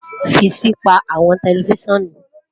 fi si pa awọn tẹlifisiọnu